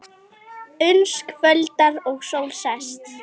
Uns kvöldar og sól sest.